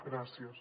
gràcies